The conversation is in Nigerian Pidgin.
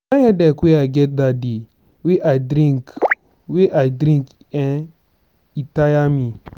di kind headache wey i get dat day wey i drink wey i drink eh e tire me.